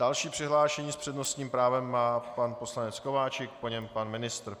Další přihlášený s přednostním právem je pan poslanec Kováčik, po něm pan ministr.